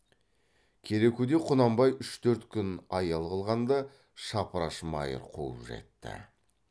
керекуде құнанбай үш төрт күн аял қылғанда шапраш майыр қуып жетті